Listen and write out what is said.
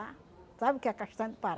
Sabe o que é a castanha do